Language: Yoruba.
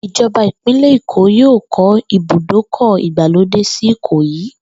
Ìjo̩ba ìpínlè̩ Èkó yóò kó̩ ibùdókò̩ ìgbàlódé sí Ìkòyí